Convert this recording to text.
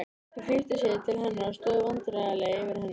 Þau flýttu sér til hennar og stóðu vandræðaleg yfir henni.